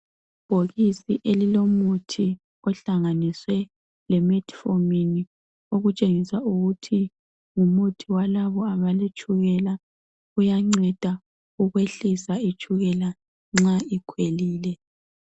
Ibhokisi elilomuthi ehlanganiswe leMetfirmin okutshengisa ukuthi ngumuthi walabo abaletshukela. Uyanceda ukwehlisa itshukela nxa likhwelile.